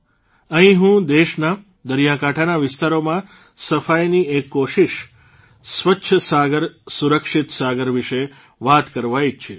અહીં હું દેશના દરિયાકાંઠાના વિસ્તારોમાં સફાઇની એક કોશીષ સ્વચ્છ સાગરસુરક્ષિત સાગર વિશે વાત કરવા ઇચ્છીશ